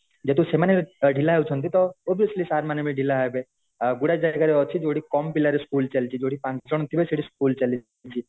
ଯେହେତୁ ସେମାନେ ଢିଲା ହେଉଛନ୍ତି ତ obviously sir ମାନେ ବି ଢିଲା ହେବେ ଆ ଗୁଡାଏ ଜାଗାରେ ବି ଅଛି ଯୋଉଠି କମ ପିଲାରେ school ଚାଲିଛି ଜଉଠି ପାଞ୍ଚ ଜଣ ଥିବେ ସେଠି school ଚାଲିଛି